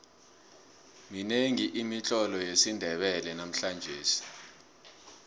minengi imitlolo yesindebele namhlangesi